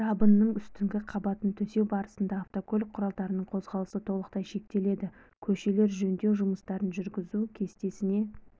жабынның үстінгі қабатын төсеу барысында автокөлік құралдарының қозғалысы толықтай шектеледі көшелер жөндеу жұмыстарын жүргізу кестесіне